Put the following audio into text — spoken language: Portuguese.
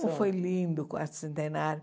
Como foi lindo o quarto centenário.